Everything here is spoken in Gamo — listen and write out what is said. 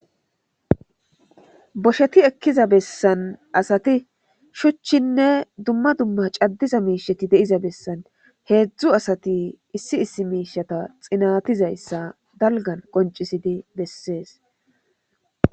Bosheti ekkiza bessan asati shuchchinne dumma dumma caddiza miishati deiza bessan heedzdzu asati issi issi miishata xinatizayssa dalgan qoncisidi bessees.